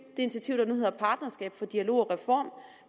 initiativ der nu hedder partnerskab for dialog og reform